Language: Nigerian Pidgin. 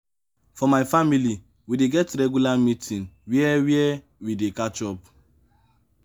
for my family we dey get regular meeting where where we dey catch up.